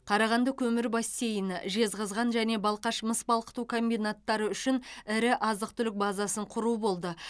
қарағанды көмір бассейні жезқазған және балқаш мыс балқыту комбинаттары үшін ірі азық түлік базасын құру болды